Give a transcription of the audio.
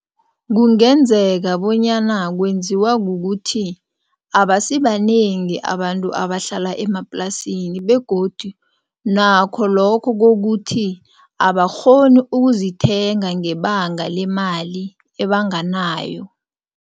Kungenzeka bonyana kwenziwa kukuthi abasibanengi abantu abahlala emaplasini begodu nakho lokho kokuthi abakghoni ukuzithenga ngebanga lemali ebanganayo.